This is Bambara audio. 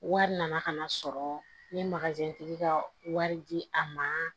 Wari nana ka na sɔrɔ n ye tigi ka wari di a ma